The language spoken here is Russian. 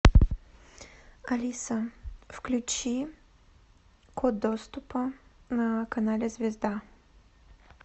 алиса включи код доступа на канале звезда